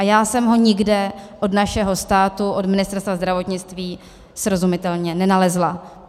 A já jsem ho nikde od našeho státu, od Ministerstva zdravotnictví srozumitelně nenalezla.